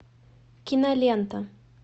кинолента